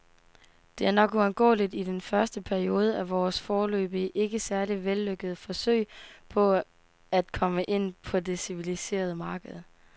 Det er nok uundgåeligt i den første periode af vores, foreløbig ikke særlig vellykkede, forsøg på at komme ind på det civiliserede marked.